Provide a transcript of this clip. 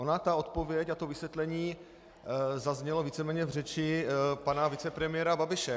Ona ta odpověď a to vysvětlení zazněly víceméně v řeči pana vicepremiéra Babiše.